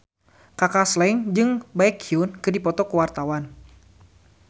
Kaka Slank jeung Baekhyun keur dipoto ku wartawan